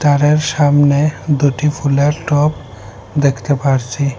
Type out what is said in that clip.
স্টারের সামনে দুটি ফুলের টব দেখতে পারছি।